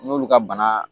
N'olu ka bana